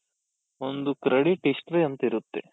ಒಂದು credit history ಅಂತ ಇರುತ್ತೆ.